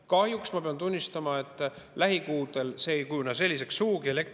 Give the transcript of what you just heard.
Kahjuks ma pean tunnistama, et lähikuudel ei kujune elektrienergia hind sugugi selliseks.